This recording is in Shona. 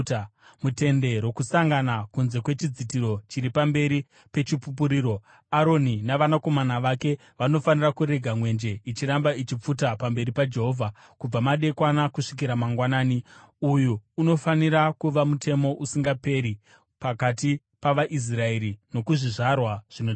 MuTende Rokusangana, kunze kwechidzitiro chiri pamberi peChipupuriro, Aroni navanakomana vake vanofanira kurega mwenje ichiramba ichipfuta pamberi paJehovha, kubva madekwana kusvikira mangwanani. Uyu unofanira kuva mutemo usingaperi pakati pavaIsraeri nokuzvizvarwa zvinotevera.